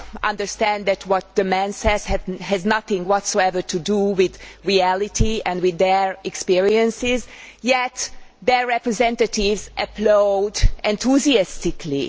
understand that what the man says has nothing whatsoever to do with reality and with their experiences, yet their representatives applaud enthusiastically.